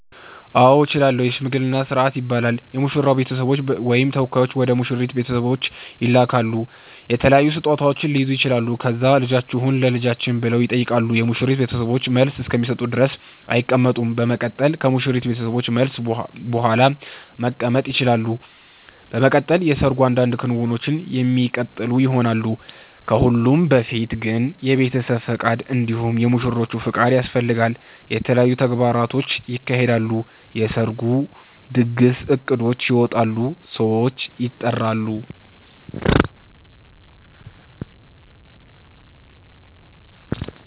አዎ እችላለሁ የሽምግልና ስርአት ይባላል የሙሽራዉ ቤተሰቦች ወይም ተወካዮች ወደ ሙሽራይቱ ቤተሰቦች ይላካሉ የተለያዩ ስጦታዉች ሊይዙ ይችላሉ ከዛ ልጃችሁን ለልጃችን ብለዉ ይጠይቃሉ የሙሽሪት ቤተሰቦችን መልስ እስከሚሰጡ ድረስ አይቀመጡም በመቀጠል ከሙሽሪት ቤተሰቦች መልስ ቡሃላ መቀመጥ ይቸላሉ። በመቀጠል የሰርጉ አንዳንድ ክንዉኖች የሚቀጥሉ ይሆናል። ከሁሉም በፊት ግን የቤተሰብ ፍቃድ እንዲሁም የሙሽሮቹ ፍቃድ ያስፈልጋል። የተለያዩ ተግባራቶች ይካሄዳሉ የሰርጉ ድግስ እቅዶች ይወጣሉ ሰዎች ይጠራሉ